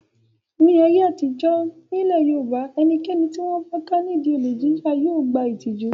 Ní ayé àtijọ́ nílẹ̀ Yorùbá ẹnikẹ́ni tí wọ́n bá ká nídi olè jíjà yóò gba ìtìjú.